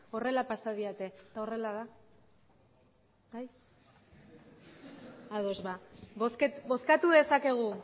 horrela pasa didate eta horrela da ados ba bozkatu dezakegu